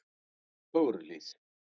Fögruhlíð